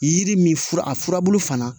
Yiri min fura a furabulu fana